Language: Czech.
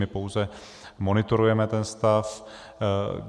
My pouze monitorujeme ten stav.